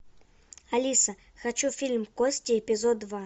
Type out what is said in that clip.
алиса хочу фильм кости эпизод два